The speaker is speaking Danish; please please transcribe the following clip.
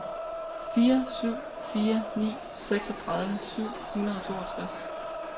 fire syv fire ni seksogtredive syv hundrede og toogtres